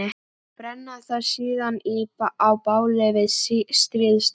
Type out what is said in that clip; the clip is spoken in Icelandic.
Brenna það síðan á báli við stríðsdans.